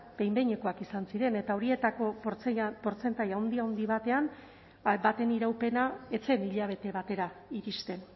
behin behinekoak ziren eta horietako portzentaje handi handi baten iraupena ez zen hilabete batera iristen